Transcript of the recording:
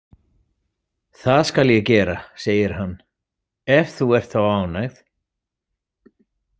Það skal ég gera, segir hann, „ef þú ert þá ánægð“